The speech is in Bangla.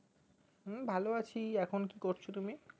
হুম ভালো আছি এখন কি করছো তুমি